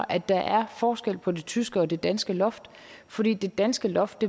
at der er forskel på det tyske og det danske loft fordi det danske loft